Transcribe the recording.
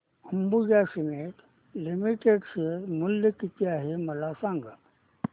Ambuja Cements Limited share मूल्य किती आहे मला सांगा